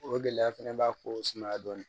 O gɛlɛya fɛnɛ b'a ko sumaya dɔɔnin